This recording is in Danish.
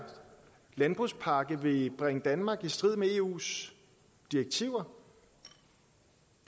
landbrugspakke vil bringe danmark i strid med eus direktiver